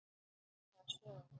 Þessa sögu.